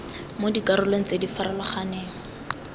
mo dikarolong tse di farologaneng